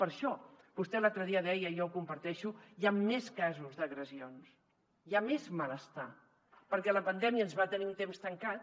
per això vostè l’altre dia deia i jo ho comparteixo que hi han més casos d’agressions hi ha més malestar perquè la pandèmia ens va tenir un temps tancats